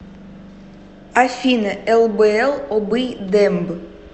афина лбл обый демб